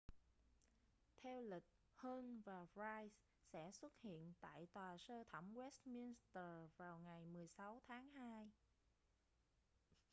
theo lịch huhne và pryce sẽ xuất hiện tại tòa sơ thẩm westminster vào ngày 16 tháng hai